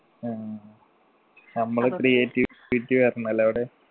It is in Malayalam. ആ നമ്മളെ creativity വരണല്ലേ അവിടെ